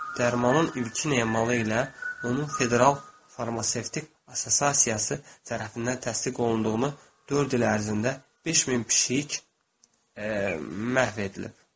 Dərmanın ilkin emalı ilə onun federal farmasevtik assosiasiyası tərəfindən təsdiq olunduğunu dörd il ərzində 5000 pişik məhv edilib.